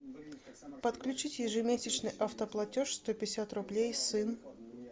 подключить ежемесячный автоплатеж сто пятьдесят рублей сын